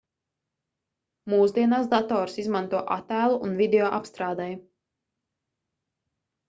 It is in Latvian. mūsdienās datorus izmanto attēlu un video apstrādei